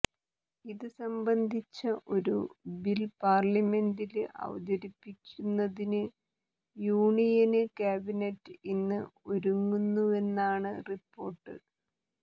ഇത് സംബന്ധിച്ച ഒരു ബില് പാര്ലിമെന്റില് അവതരിപ്പിക്കുന്നതിന് യൂണിയന് കാബിനറ്റ് ഇന്ന് ഒരുങ്ങുന്നുവെന്നാണ് റിപ്പോര്ട്ട്